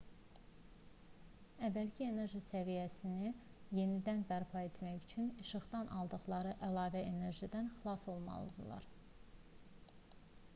əvvəlki enerji səviyyələrini yenidən bərpa etmək üçün işıqdan aldıqları əlavə enerjidən xilas olmalıdırlar